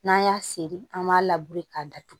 N'an y'a seri an b'a labure k'a datugu